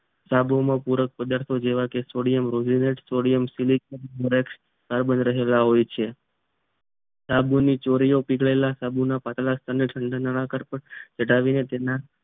સાબુમાં પૂર્વક પદાર્થો જેવા કે સોડિયમરોહીનડ સોડિયમસિલિકોન એટ કાર્બન રહેલા હોય છે સાબુ ચોરી માં પીગળેલા સાબુના પાતળા સ્તરને તહન્ટહાર્ટ પેર ચડાવીને તેના